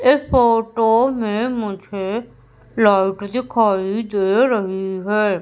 एक फोटो में मुझे प्लग दिखाई दे रही है।